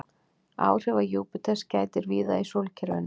Áhrifa Júpíters gætir víða í sólkerfinu.